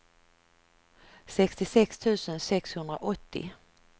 sextiosex tusen sexhundraåttio